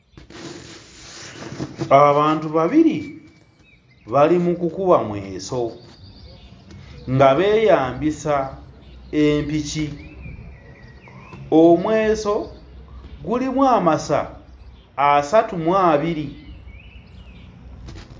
Abantu babiri bali mu kukuba mweso nga beeyambisa empiki, omweso gulimu amasa asatu mu abiri.